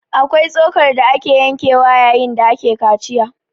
Akwai tsokar da ake yankewa yayin da ake kaciya